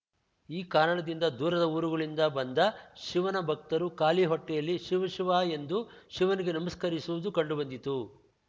ಈ ಕಾರಣದಿಂದ ದೂರದ ಊರುಗಳಿಂದ ಬಂದ ಶಿವನ ಭಕ್ತರುಗಳು ಖಾಲಿ ಹೊಟ್ಟೆಯಲ್ಲಿ ಶಿವ ಶಿವ ಎಂದು ಶಿವನಿಗೆ ನಮಸ್ಕರಿಸುವುದು ಕಂಡು ಬಂದಿತು